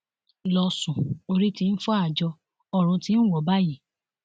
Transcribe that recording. lọsùn orí tí ń fọ àjọ ọrun ti ń wọ ọ báyìí